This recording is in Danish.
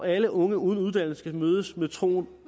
alle unge uden uddannelse skal mødes med troen